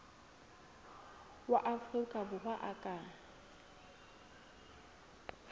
wa afrika borwa a ka